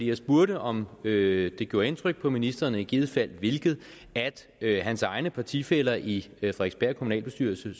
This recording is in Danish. jeg spurgte om det gjorde indtryk på ministeren og i givet fald hvilket at hans egne partifæller socialdemokraterne i frederiksberg kommunalbestyrelse